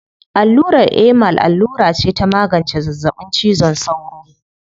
Allurar Emal allura ce ta magance zazzaɓin cizon sauro.